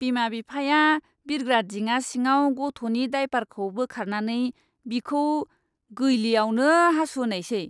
बिमा बिफाया बिरग्रा दिङा सिङाव गथ'नि दायपारखौ बोखारनानै बिखौ गैलीयावनो हासुहोनायसै!